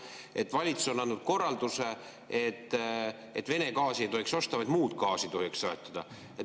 Et valitsus on andnud korralduse, et Vene gaasi ei tohi osta, üksnes muud gaasi tohib soetada.